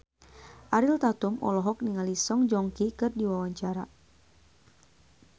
Ariel Tatum olohok ningali Song Joong Ki keur diwawancara